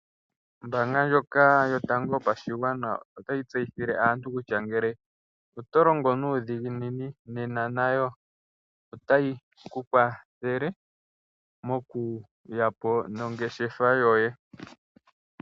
Ombaanga ndjoka yotango yopashigwana otayi tseyithile aantu kutya ngele oto longo nuudhiginini nena nayo otayi ku kwathele moku yapo nongeshefa yoye.